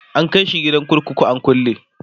an kaishi gidan kurkuku an kulle